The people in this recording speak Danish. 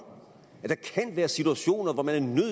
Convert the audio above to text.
at der kan være situationer hvor man er